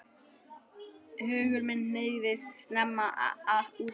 Hugur minn hneigðist snemma að útgerð.